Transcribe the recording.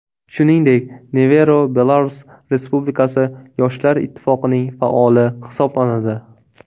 Shuningdek, Nevero Belarus Respublikasi yoshlar ittifoqining faoli hisoblanadi.